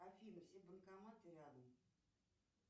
афина все банкоматы рядом